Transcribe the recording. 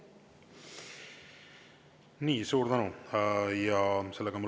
Nii, suur tänu!